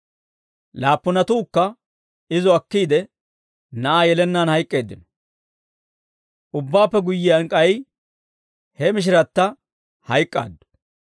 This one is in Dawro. Laappunatuukka izo akkiide, na'aa yelennaan hayk'k'eeddino; ubbaappe guyyiyaan, k'ay he mishiratta hayk'k'aaddu.